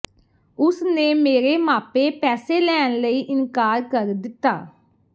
ਉਸ ਨੇ ਮੇਰੇ ਮਾਪੇ ਪੈਸੇ ਲੈਣ ਲਈ ਇਨਕਾਰ ਕਰ ਦਿੱਤਾ